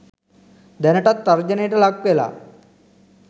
දැනටත් තර්ජනයට ලක් වෙලා